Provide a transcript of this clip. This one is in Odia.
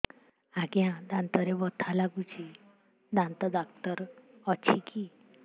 ଆଜ୍ଞା ଦାନ୍ତରେ ବଥା ଲାଗୁଚି ଦାନ୍ତ ଡାକ୍ତର ଅଛି କି